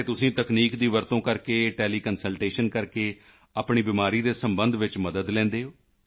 ਅਤੇ ਤੁਸੀਂ ਤਕਨੀਕ ਦੀ ਵਰਤੋਂ ਕਰਕੇ ਟੈਲੀਕੰਸਲਟੇਸ਼ਨ ਕਰਕੇ ਆਪਣੀ ਬਿਮਾਰੀ ਦੇ ਸਬੰਧ ਵਿੱਚ ਮਦਦ ਲੈਂਦੇ ਹੋ